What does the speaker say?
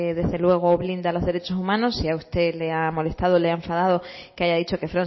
desde luego blinda los derechos humanos si a usted le ha molestado le ha enfadado que haya dicho que